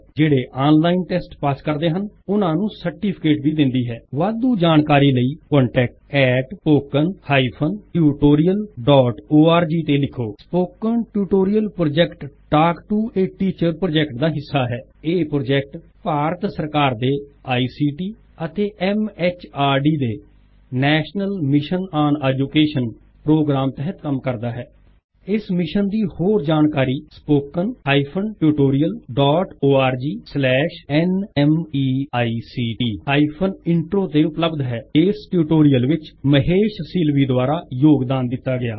ਜਿਹ੍ੜੇ online test pass ਕਰਦੇ ਹਨ ਉਨਾਂ ਨੂਂ ਸਰ੍ਟਿਫ਼ਿਕੇਟ ਵੀ ਦੇਂਦੀ ਹੈ ਵਾਧੂ ਜਾਣ੍ਕਾਰੀ ਲਈ contactspoken tutorialorg ਤੇ ਲਿਖੋ spoken tutorial project talk to a teacher project ਦਾ ਹਿਸਾ ਹੈ ਇਸ ਪ੍ਰੋਜੇਕਟ ਭਾਰਤ ਸਰ੍ਕਾਰ ਦੇ ਆਈਸੀਟੀ ਅਤੇ ਐਮਐਚਆਰਡੀ ਦੇ national mission on education programme ਤਹਿਤ ਕਂਮ ਕਰ੍ਦਾ ਹੈ ਇਸ ਮਿਸ਼ਨ ਦੀ ਹੋਰ ਜਾਣ੍ਕਾਰੀ spoken tutorialorgnmict ਇੰਟਰੋ ਤੇ ਉਪ੍ਲਬ੍ਧ ਹੈ ਇਸ ਟਿਉਟੋਰਿਅਲ ਵਿੱਚ ਮਹੇਸ਼ ਸੀਲਵੀ ਦੁਆਰਾ ਯੋਗ੍ਦਾਨ ਦਿੱਤਾ ਗਇਆ ਹੈ